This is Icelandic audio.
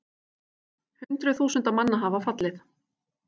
Hundruð þúsunda manna hafa fallið